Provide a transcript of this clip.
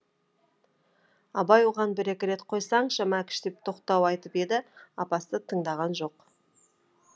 абай оған бір екі рет қойсаңшы мәкіш деп тоқтау айтып еді апасы тыңдаған жоқ